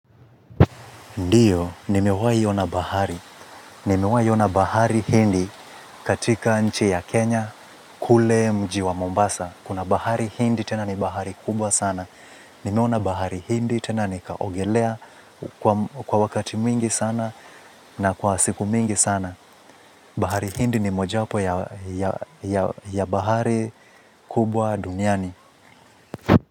Ndiyo, nimewahi ona bahari hindi katika nchi ya Kenya kule mji wa Mombasa. Kuna bahari hindi tena ni bahari kubwa sana. Nimeona bahari hindi tena nikaogelea kwa wakati mwingi sana na kwa siku mingi sana. Bahari hindi ni moja wapo ya bahari kubwa duniani.